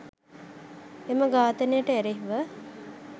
එම ඝාතනය ට එරෙහිව